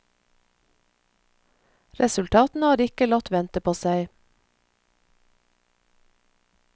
Resultatene har ikke latt vente på seg.